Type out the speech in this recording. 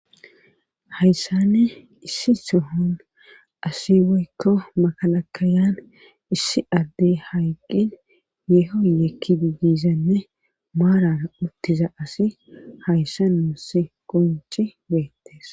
Hayssane issi sohon asi woykka makalakayan issi addey hayqqin yeehoyekki bigizanne maarara uttiza asi hayssa nuus qonci beettees